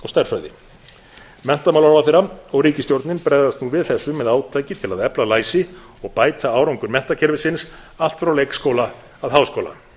stærðfræði menntamálaráðherra og ríkisstjórnin bregðast nú við þessu með átak til að efla læsi og bæta árangur menntakerfisins allt frá leikskóla að háskóla